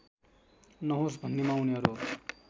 नहोस् भन्नेमा उनीहरू